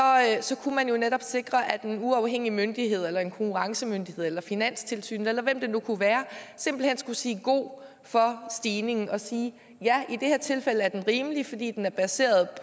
kunne man jo netop sikre at en uafhængig myndighed eller en konkurrencemyndighed eller finanstilsynet eller hvem det nu kunne være simpelt hen skulle sige god for stigningen og sige ja i det her tilfælde er den rimelig fordi den er baseret